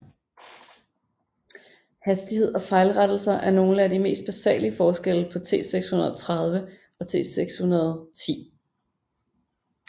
Hastighed og fejlrettelser er nogle af de mest basale forskelle på T630 og T610